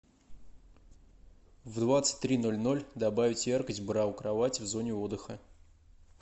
в двадцать три ноль ноль добавить яркость бра у кровати в зоне отдыха